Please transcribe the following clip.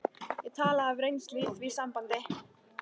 Ég tala af reynslu í því sambandi.